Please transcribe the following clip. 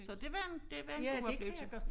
Så det var en det var en god oplevelse